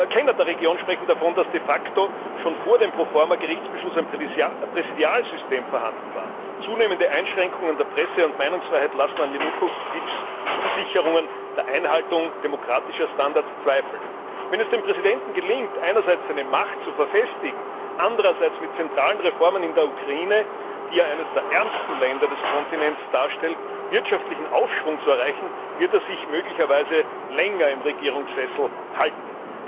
Kenner der Region sprechen davon, dass de facto schon vor dem Pro forma Gerichtsbeschluss ein Präsidialsystem vorhanden war. Zunehmende Einschränkungen der Presse und Meinungsfreiheit lassen an Janukowitschs Zusicherungen der Einhaltung demokratischer Standards zweifeln. Wenn es dem Präsidenten gelingt, einerseits seine Macht zu verfestigen, andererseits mit zentralen Reformen in der Ukraine, die ja eines der ärmsten Länder des Kontinents darstellt, wirtschaftlichen Aufschwung zu erreichen, wird er sich möglicherweise länger im Regierungssessel halten.